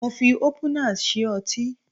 mo fi opener sí ọtí